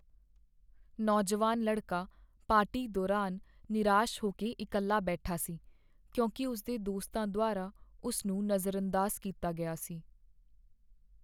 ਨੌਜਵਾਨ ਲੜਕਾ ਪਾਰਟੀ ਦੌਰਾਨ ਨਿਰਾਸ਼ ਹੋ ਕੇ ਇਕੱਲਾ ਬੈਠਾ ਸੀ ਕਿਉਂਕਿ ਉਸ ਦੇ ਦੋਸਤਾਂ ਦੁਆਰਾ ਉਸ ਨੂੰ ਨਜ਼ਰਅੰਦਾਜ਼ ਕੀਤਾ ਗਿਆ ਸੀ।